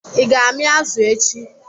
I ga-ami azụ echi?